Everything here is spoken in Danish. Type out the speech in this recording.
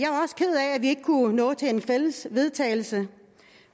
vi ikke kunne nå til et fælles forslag vedtagelse